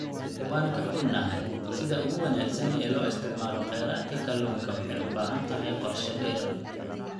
Waan ka xunnahay, sida ugu wanaagsan ee loo isticmaalo kheyraadka kalluunka waxay u baahan tahay qorshe-dheer.